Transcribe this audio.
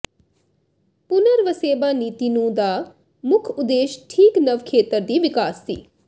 ਪੁਨਰਵਸੇਬਾ ਨੀਤੀ ਨੂੰ ਦਾ ਮੁੱਖ ਉਦੇਸ਼ ਠੀਕ ਨਵ ਖੇਤਰ ਦੀ ਵਿਕਾਸ ਸੀ